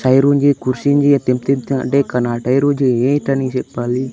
టైరుంజి కుర్షింజి తెప్తెప్త టేకన టైరు జి ఏంటని చెప్పాలి.